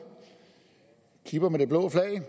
kipper med det blå eu flag